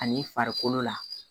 Ani farikolo la